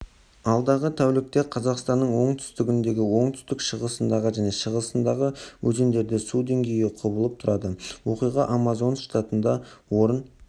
алдағы тәулікте қазақстанның оңтүстігіндегі оңтүстік-шығысындағы және шығысындағы өзендерде су деңгейі құбылып тұрады оқиға амазонас штатында орын